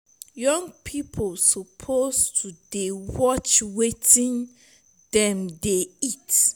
young people suppose to dey watch wetin dem dey eat.